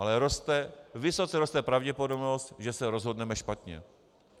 Ale vysoce roste pravděpodobnost, že se rozhodneme špatně.